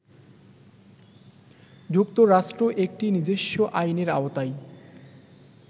যুক্তরাষ্ট্র একটি নিজস্ব আইনের আওতায়